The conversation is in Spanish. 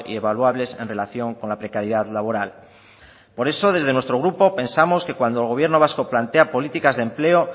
evaluables en relación con la precariedad laboral por eso desde nuestro grupo pensamos que cuando el gobierno vasco plantea políticas de empleo